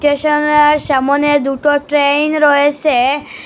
Stationer সামোনে দুটো train রয়েসে।